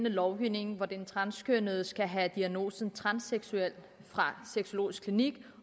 lovgivning hvor den transkønnede skal have diagnosen transseksuel fra sexologisk klinik